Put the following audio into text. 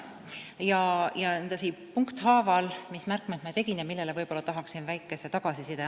Tegin mõned märkmed ja annan punkthaaval väikese tagasiside.